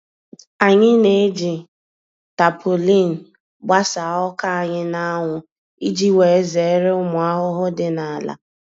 Anyị n'eji tapaulin gbasa ọka anyị na-anwụ iji wee zere ụmụ ahụhụ dị n'ala.